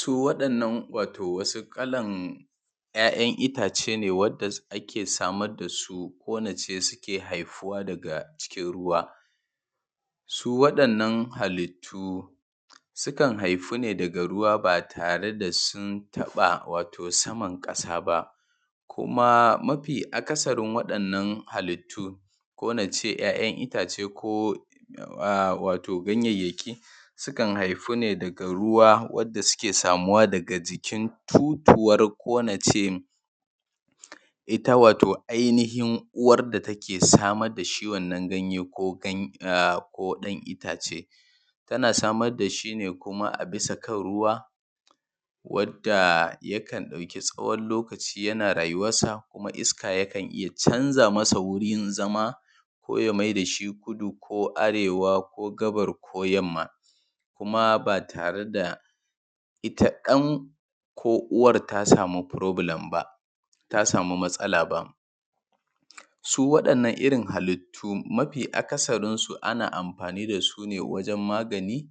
Su waɗannan wato wasu kalan 'ya'yan itace ne wanda ake samar da su wanda suke haifuwa daƙa cikin ruwa su wa'yannan halittun sukan haifu ne daga ruwa ba tare da sun taba wato saman ƙasa ba kuma mafi akasarin wa'yannan halittun ko na ce 'ya'yan itace ko wato ganyanyaki sukan haifuwa daga ruwa wanda suke samuwa daga jikin totowar ko in ce ita wato ainihin uwar da take samar da shi wannan ganye ko ɗan itace tana samar da shi ne kuma a bisa kan ruwa wadda yakan ɗauki tsawon lokaci yana rayuwansa kuma iska yakan canza masa gurin zama ko ya maida shi kudu ko arewa ko gabas ko yamma kuma ba tare da ita ɗan ko uwar ta sama prɔblɛm ba ta sama matsala ba su wa’yannan irin halittun mafi akasarinsu ana amfani da su wajen magani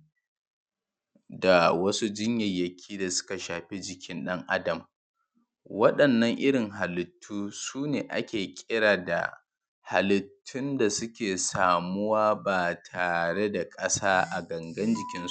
da wasu jinyanaki da suka shafi jikin ɗan adam waɗannan irin halittun su ne ake kira da halittun da suke samuwa ba tare da ƙasa a gangan jikinsu ba:.